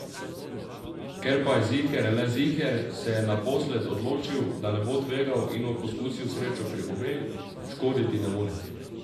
Ker pa je ziher le ziher, se je naposled odločil, da ne bo tvegal in bo poskusil srečo pri obeh, škoditi ne more.